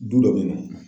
Du dɔ bɛ yen nɔ